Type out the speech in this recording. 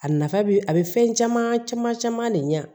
A nafa bi a bɛ fɛn caman caman caman de ɲa